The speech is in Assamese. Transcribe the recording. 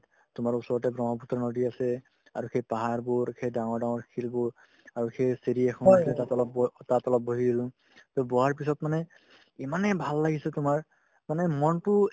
তোমাৰ ওচৰতে ব্ৰহ্মপুত্ৰ নদী আছে আৰু সেই পাহাৰবোৰ সেই ডাঙৰ ডাঙৰ শিলবোৰ আৰু সেই চিৰি এখন আছে তাতে অলপ বহ তাত অলপ বহি দিলো to বহাৰ পাছত মানে ইমানে ভাল লাগিছে তোমাৰ মানে মনতো